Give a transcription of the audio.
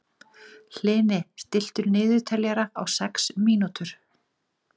Hlini, stilltu niðurteljara á sex mínútur.